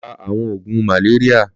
Lọ rà awọn ógún màlérìá